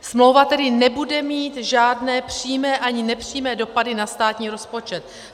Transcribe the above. Smlouva tedy nebude mít žádné přímé ani nepřímé dopady na státní rozpočet.